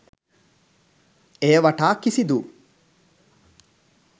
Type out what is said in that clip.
එය වටා කිසිදු